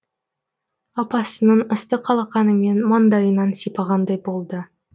апасының ыстық алақанымен маңдайынан сипағандай болды